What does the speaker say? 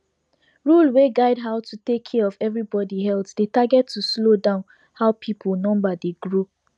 rule wey guide how to take care of everybody healthdey target to slow down how people number dey grow